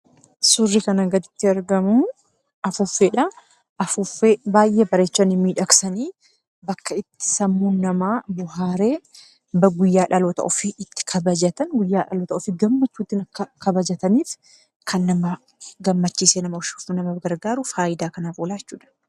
Suurri kanaa gaditti argamu afuuffeedha. Afuuffee baay'ee bareechanii miidhagsanii akka itti sammuun namaa bohaaree guyyaa dhaloota ofii gammachuun itti kabajatanis kan nama gammachiisuuf nama gargaarudha.